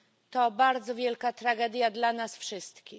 To bardzo wielka tragedia dla nas wszystkich.